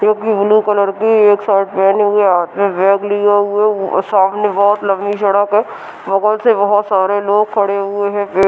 जो कि blue colour की एक शर्ट पेहने हुए हैं हाथ में बैग लिए हुए हैं सामने बोहोत लम्बी सड़क है। बगल से बोहोत सारे लोग खड़े हुए हैं।